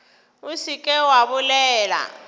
o se ke wa bolela